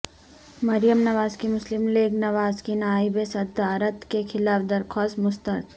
مریم نواز کی مسلم لیگ نواز کی نائب صدارت کے خلاف درخواست مسترد